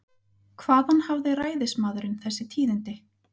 Hvaðan hafði ræðismaðurinn þessi tíðindi?